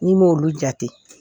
Ni m' olu jate